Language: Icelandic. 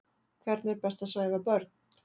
Hvernig er best að svæfa börn?